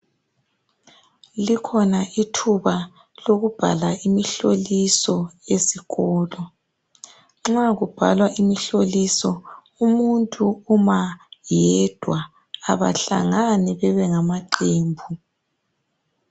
Likhona ithuba lokubhala imihloliso esikolo. Nxa ukubhalwa imihloliso umuntu uma yedwa. Abahlangani bebenga maqembu.